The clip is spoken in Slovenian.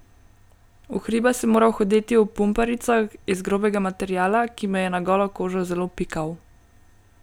V hribe sem moral hoditi v pumparicah iz grobega materiala, ki me je na golo kožo zelo pikal.